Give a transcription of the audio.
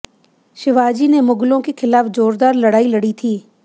शिवाजी मुगलों के खिलाफ जोरदार लड़ाई लड़ी थी